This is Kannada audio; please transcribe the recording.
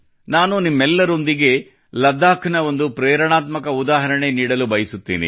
ನಾನು ನಿಮ್ಮೆಲ್ಲರೊಂದಿಗೆ ಲಡಾಖ್ ನ ಒಂದು ಪ್ರೇರಣಾತ್ಮಕ ಉದಾಹರಣೆ ನೀಡಲು ಬಯಸುತ್ತೇನೆ